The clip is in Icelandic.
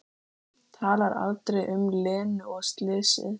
Talar aldrei um Lenu og slysið.